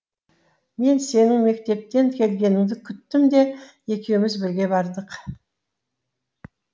мен сенің мектептен келгеніңді күттім де екеуміз бірге бардық